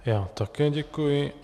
Já také děkuji.